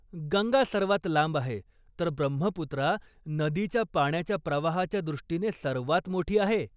गंगा सर्वात लांब आहे, तर ब्रह्मपुत्रा नदीच्या पाण्याच्या प्रवाहाच्या दृष्टीने सर्वात मोठी आहे.